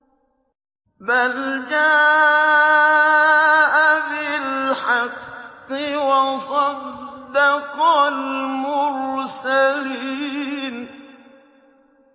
بَلْ جَاءَ بِالْحَقِّ وَصَدَّقَ الْمُرْسَلِينَ